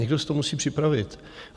Někdo si to musí připravit.